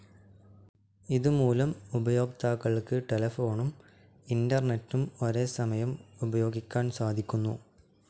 ഇത് മൂലം ഉപയോക്താക്കൾക്ക് ടെലഫോണും ഇൻ്റർനെറ്റും ഒരേ സമയം ഉപയോഗിക്കാൻ സാധിക്കുന്നു.